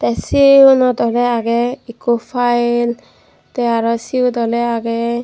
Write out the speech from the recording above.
sey eyugunot oley agey ikko pael tey arw siot oley agey.